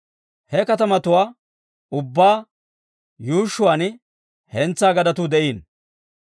He katamatuwaa ubbaa yuushshuwaan hentsaa gadetuu de'iino.